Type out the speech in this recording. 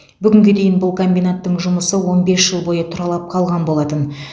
бүгінге дейін бұл комбинаттың жұмысы он бес жыл бойы тұралап қалған болатын